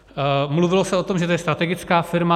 Mluvilo se o tom, že to je strategická firma.